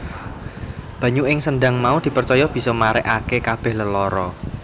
Banyu ing sendhang mau dipercaya bisa marèake kabèh lelara